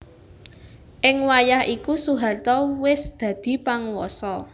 Ing wayah iku Soeharto wis dadi panguwasa